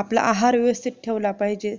आपला आहार व्यवस्थित ठेवला पाहिजे